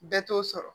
Bɛɛ t'o sɔrɔ